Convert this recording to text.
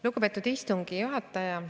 Lugupeetud istungi juhataja!